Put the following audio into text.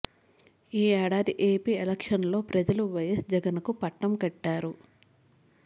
ఈ ఏడాది AP elections లో ప్రజలు వైఎస్ జగన్ కు పట్టం కట్తారు